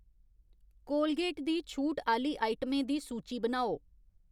Colgate दी छूट आह्ली आइटमें दी सूची बनाओ